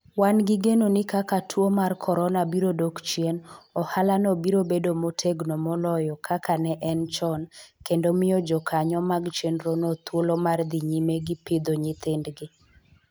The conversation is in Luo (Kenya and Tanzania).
Wan gi geno ni kaka tuo mar Corona biro dok chien, ohalano biro bedo motegno moloyo kaka ne en chon kendo miyo jokanyo mag chenrono thuolo mar dhi nyime gi pidho nyithindgi.